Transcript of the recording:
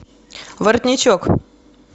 воротничок